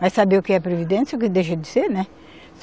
Vai saber o que é previdência, o que deixa de ser, né?